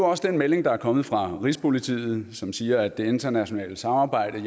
også den melding der er kommet fra rigspolitiet som siger at det internationale samarbejde